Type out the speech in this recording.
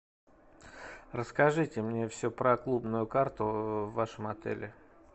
расскажите мне все про клубную карту в вашем отеле